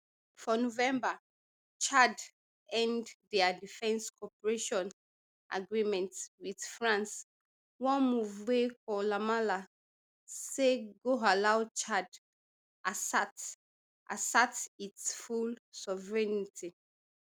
for november chad end dia defence cooperation agreement wit france one move wey koulamallah say go allow chad assert assert its full sovereignty